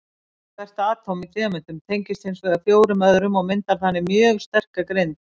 Hvert atóm í demöntum tengist hins vegar fjórum öðrum og myndar þannig mjög sterka grind.